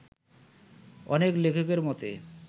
অনেক লেখকের মতে